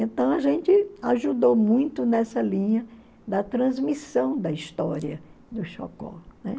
Então, a gente ajudou muito nessa linha da transmissão da história dos Chocó, né?